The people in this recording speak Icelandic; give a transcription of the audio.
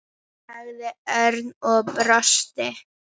sagði Örn og brosti.